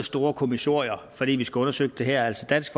store kommissorier fordi vi skal have undersøgt det her altså dansk